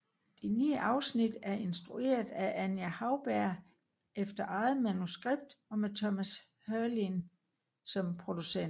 De ni afsnit er instrueret af Anja Hauberg efter eget manuskript og med Thomas Heurlin som producent